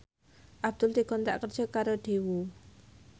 Abdul dikontrak kerja karo Daewoo